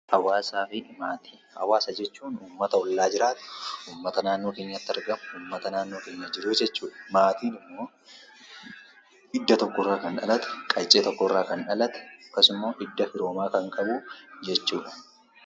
Hawaasaa fi Maatii: Hawaasa jechuun ummata ollaa jiraatu, ummata naannoo keenyatti argamu, ummata naannoo keenya jiruu jechuu dha. Maatiin immoo hidda tokkorraa kan dhalate, qaccee tokko irraa kan dhalate akkasuma hidda firoomaa kan qabu jechuu dha